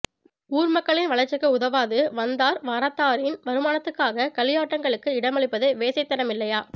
ஊர் மக்களின் வளர்ச்சிக்கு உதவாது வந்தார் வரத்தாரின் வருமானத்துக்காக களியாட்டங்களுக்கு இடமளிப்பது வேசைத்தனமில்லையா